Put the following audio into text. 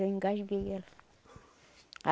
Eu engasguei ela.